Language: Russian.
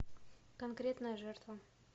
конкретная жертва